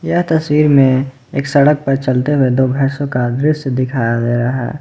यह तस्वीर में एक सड़क पर चलते हुए दो भैंसों का दृश्य दिखाया गया है।